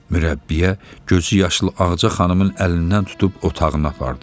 Mürəbbiyə gözüyaşlı Ağca xanımın əlindən tutub otağına apardı.